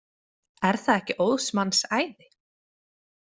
Er það ekki óðs manns æði?